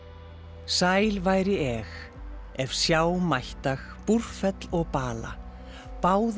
sæl væri eg ef sjá mættag Búrfell og bala báða